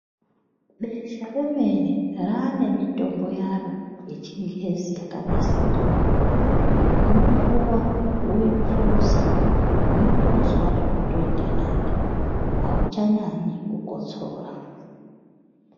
Besha remene raane mitombo yaro yechingezi yakanasirwa. Unopuwa woiphuza, unotozwa zvotoitenane, auchanyanyi kukotsora.